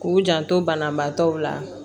K'u janto banabaatɔ la